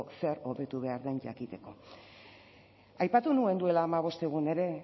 zer hobetu behar den jakiteko aipatu nuen duela hamabost egun ere